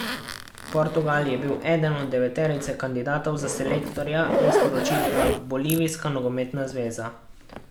Portugal je bil eden od deveterice kandidatov za selektorja, je sporočila bolivijska nogometna zveza.